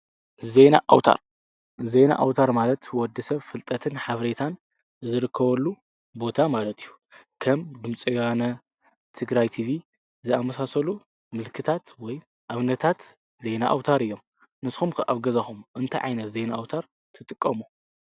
ዜና ኣዉታር ዜና ኣዉታር ማለት ወድሰብ ፍልጥትን ሓበሬታን ዝረክበሉ ቦታ ማለት እዩ ከም ድምፂ ወያነ፣ ትግራይ ቲቪ ዝኣመሳሰሉ ምልክታት ወይ ኣብነታት ዜና ኣዉታር እዮም ንስኩም ከ ኣብ ገዛኩ ታይ ዓይነት ዜና ኣዉታር ትጥቀሙ?